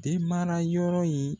Den mana yɔrɔ ye.